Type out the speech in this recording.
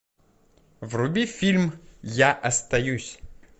вруби фильм я остаюсь